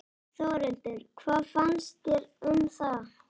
Þórhildur: Hvað finnst þér um það?